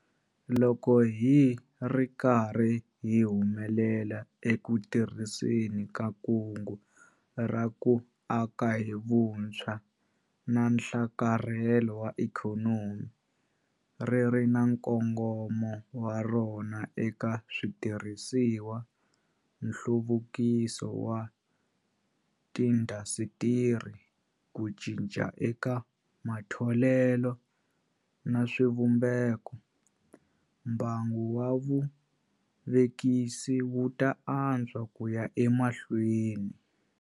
Loko hi ri karhi hi humelela eku tirhiseni ka Kungu ra ku Aka hi Vutshwa na Nhlakarhelo wa Ikhonomi- ri ri na nkongomo wa rona eka switirhisiwakulu, nhluvukiso wa tiindasitiri, ku cinca eka matholelo na swivumbeko- mbangu wa vuvekisi wu ta antswa ku ya emahlweni.